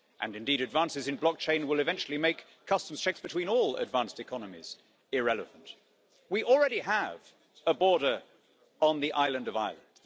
Indeed, advances in blockchain will eventually make customs checks between all advanced economies irrelevant. We already have a border on the island of Ireland.